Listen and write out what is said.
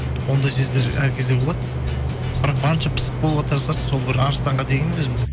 ондай сөздер әр кезде болады бірақ барынша пысық болуға тырысасың сол бір арыстанға теңеймін өзімді